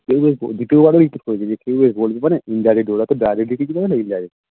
কেউ আর দ্বিতীয়বার ঐ repeat করবেনা যে কেউ আর বলবেনা Indirect ওরা তো Direct কিছু করবেনা Indirect